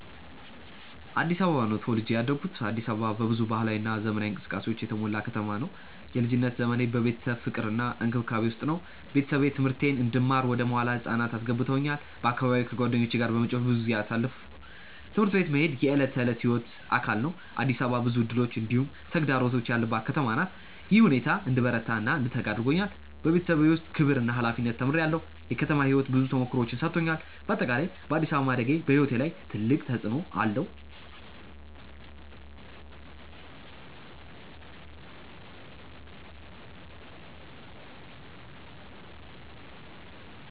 አዲስ አበባ ነው ተወልጄ ያደኩት። አዲስ አበባ በብዙ ባህላዊ እና ዘመናዊ እንቅስቃሴዎች የተሞላ ከተማ ነው። የልጅነት ዘመኔ በቤተሰብ ፍቅር እና እንክብካቤ ውስጥ ነበር። ቤተሰቤ ትምህርቴን እንድማር ወደ መዋለ ህፃናት አስገቡኝ በአካባቢዬ ከጓደኞቼ ጋር በመጫወት ብዙ ጊዜ አሳለፍኩ። ትምህርት ቤት መሄድ የዕለት ተዕለት ሕይወቴ አካል ነበር። አዲስ አበባ ብዙ እድሎች እንዲሁም ተግዳሮቶች ያለባት ከተማ ናት። ይህ ሁኔታ እንድበረታ እና እንድተጋ አድርጎኛል። በቤተሰብ ውስጥ ክብር እና ሀላፊነት ተምሬአለሁ። የከተማ ሕይወት ብዙ ተሞክሮዎችን ሰጥቶኛል። በአጠቃላይ በአዲስ አበባ ማደጌ በሕይወቴ ላይ ትልቅ ተፅዕኖ አለው።